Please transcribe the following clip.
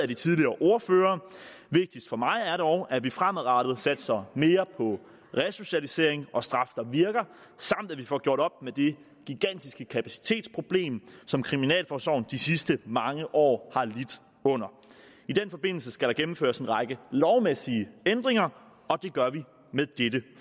de tidligere ordførere vigtigst for mig er det dog at vi fremadrettet satser mere på resocialisering og straf der virker samt at vi får gjort op med det gigantiske kapacitetsproblem som kriminalforsorgen de sidste mange år i den forbindelse skal der gennemføres en række lovmæssige ændringer og det gør vi med dette